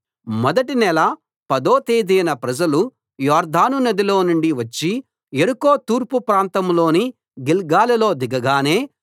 మొదటి నెల పదో తేదీన ప్రజలు యొర్దాను నదిలో నుండి వచ్చి యెరికో తూర్పు ప్రాంతంలోని గిల్గాలులో దిగగానే